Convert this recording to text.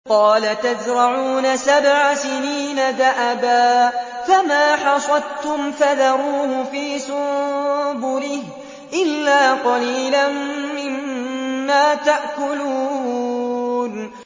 قَالَ تَزْرَعُونَ سَبْعَ سِنِينَ دَأَبًا فَمَا حَصَدتُّمْ فَذَرُوهُ فِي سُنبُلِهِ إِلَّا قَلِيلًا مِّمَّا تَأْكُلُونَ